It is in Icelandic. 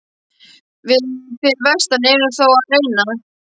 Við fyrir vestan erum þó að reyna.